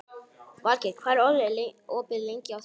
Valgeir, hvað er opið lengi á þriðjudaginn?